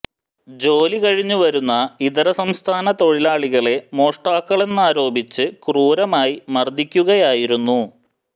ജോലി കഴിഞ്ഞു വരുന്ന ഇതര സംസ്ഥാന തൊഴിലാളികളെ മോഷ്ടാക്കളെന്നാരോപിച്ച് ക്രൂരമായി മര്ദിക്കുകയായിരുന്നു